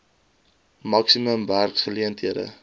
maksimum werks geleenthede